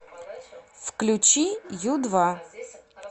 включи ю два